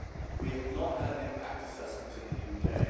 We have not had an impact assessment in the UK.